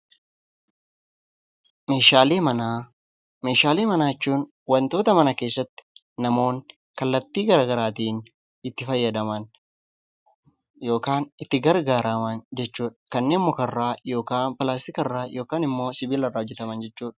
Meeshaalee manaa jechuun wantoota mana keessatti namoonni kallattii garaagaraatiin itti fayyadaman yookaan itti gargaaraman jechuudha. Kanneen mukarraa yookaan pilaastikarraa yookaan immoo sibiilarraa hojjataman jechuudha.